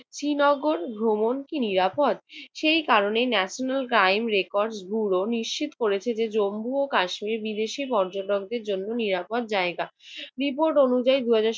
শ্রীনগর ভ্রমণ কি নিরাপদ? সেই কারণে ন্যাশনাল ক্রাইম রেকর্ডস ব্যুরো নিশ্চিত করেছে যে জম্মু ও কাশ্মীর বিদেশী পর্যটকদের জন্য নিরাপদ জায়গা। রিপোর্ট অনুযায়ী দুই হাজার